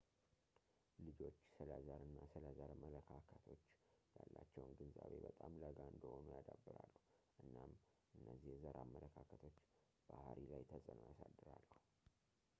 ልጆች ስለ ዘር እና ስለ ዘር መለካከቶች ያላቸውን ግንዛቤ በጣም ለጋ እንደሆኑ ያዳብራሉ እናም እነዚህ የዘር አመለካከቶች ባህሪይ ላይ ተጽዕኖ ያሳድራሉ